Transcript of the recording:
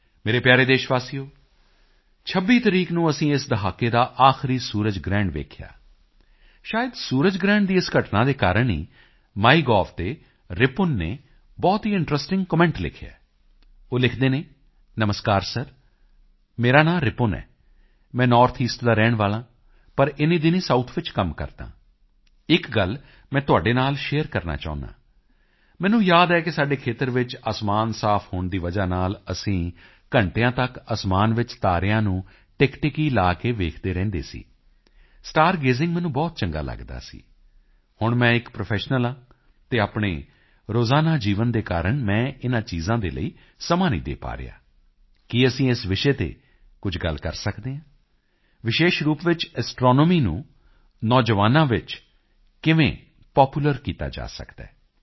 ਮੇਰੇ ਪਿਆਰੇ ਦੇਸ਼ਵਾਸੀਓ 26 ਤਾਰੀਖ ਨੂੰ ਅਸੀਂ ਇਸ ਦਹਾਕੇ ਦਾ ਆਖਰੀ ਸੂਰਜ ਗ੍ਰਹਿਣ ਦੇਖਿਆ ਸ਼ਾਇਦ ਸੂਰਜ ਗ੍ਰਹਿਣ ਦੀ ਇਸ ਘਟਨਾ ਦੇ ਕਾਰਣ ਹੀ ਮਾਈਗੋਵ ਤੇ ਰਿਪੁਨ ਨੇ ਬਹੁਤ ਹੀ ਇੰਟਰੈਸਟਿੰਗ ਕਮੈਂਟ ਲਿਖਿਆ ਹੈ ਉਹ ਲਿਖਦੇ ਹਨ ਨਮਸਕਾਰ ਸਰ ਮੇਰਾ ਨਾਂ ਰਿਪੁਨ ਹੈ ਮੈਂ ਨੌਰਥ ਈਸਟ ਦਾ ਰਹਿਣ ਵਾਲਾ ਹਾਂ ਪਰ ਇਨ੍ਹੀਂ ਦਿਨੀਂ ਸਾਉਥ ਵਿੱਚ ਕੰਮ ਕਰਦਾ ਹਾਂ ਇੱਕ ਗੱਲ ਮੈਂ ਤੁਹਾਡੇ ਨਾਲ ਸ਼ੇਅਰ ਕਰਨਾ ਚਾਹੁੰਦਾ ਹਾਂ ਮੈਨੂੰ ਯਾਦ ਹੈ ਕਿ ਸਾਡੇ ਖੇਤਰ ਵਿੱਚ ਅਸਮਾਨ ਸਾਫ ਹੋਣ ਦੀ ਵਜ੍ਹਾ ਨਾਲ ਅਸੀਂ ਘੰਟਿਆਂ ਤੱਕ ਅਸਮਾਨ ਵਿੱਚ ਤਾਰਿਆਂ ਨੂੰ ਟਿਕਟਿਕੀ ਲਗਾ ਕੇ ਵੇਖਦੇ ਰਹਿੰਦੇ ਸੀ ਸਟਾਰ ਗੇਜ਼ਿੰਗ ਮੈਨੂੰ ਬਹੁਤ ਚੰਗਾ ਲੱਗਦਾ ਸੀ ਹੁਣ ਮੈਂ ਇੱਕ ਪ੍ਰੋਫੈਸ਼ਨਲ ਹਾਂ ਅਤੇ ਆਪਣੇ ਰੋਜ਼ਾਨਾ ਜੀਵਨ ਦੇ ਕਾਰਣ ਮੈਂ ਇਨ੍ਹਾਂ ਚੀਜ਼ਾਂ ਦੇ ਲਈ ਸਮਾਂ ਨਹੀਂ ਦੇ ਪਾ ਰਿਹਾ ਹਾਂ ਕੀ ਅਸੀਂ ਇਸ ਵਿਸ਼ੇ ਤੇ ਕੁਝ ਗੱਲ ਕਰ ਸਕਦੇ ਹਾਂ ਵਿਸ਼ੇਸ਼ ਰੂਪ ਵਿੱਚ ਐਸਟ੍ਰੋਨੋਮੀ ਨੂੰ ਨੌਜਵਾਨਾਂ ਵਿੱਚ ਕਿਵੇਂ ਪਾਪੂਲਰ ਕੀਤਾ ਜਾ ਸਕਦਾ ਹੈ